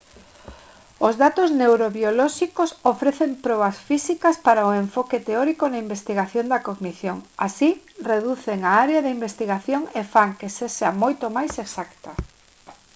os datos neurobiolóxicos ofrecen probas físicas para o enfoque teórico na investigación da cognición así reducen a área de investigación e fan que sexa moito máis exacta